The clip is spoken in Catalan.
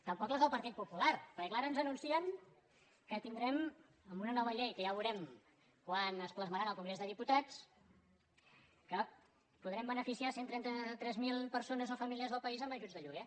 tampoc les del partit popular perquè clar ara ens anuncien que tindrem amb una nova llei que ja veurem quan es plas·marà en el congrés dels diputats que podrem benefi·ciar cent i trenta tres mil persones o famílies del país amb ajuts de lloguer